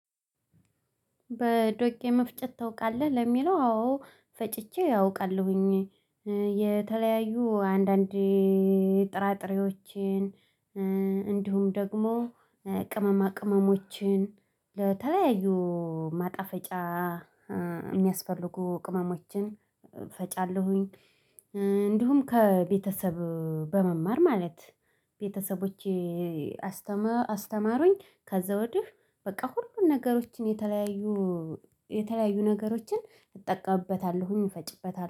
በዶቄ መፍጨት ታውቃለህ? ለሚለው አዎ ፈጭቼ አውቃለሁኝ የተለያዩ አንዳንድ ጥራጥሬዎችን እንዲሁም ደግሞ ቅመማ ቅመሞችን ለተለያዩ ማጣፈጫ የሚያስፈልጉ ቅመሞችን እፈጫለሁኝ። እንዲሁም ከቤተሰብ በመማር ማለት ቤተሰቦቼ አስተማሩኝ። ከዛ ወድህ በቃ ሁሉን ነገሮችን የተለያዩ የተለያዩ ነገሮችን እጠቀምበታለሁኝ እፈጭበታለሁ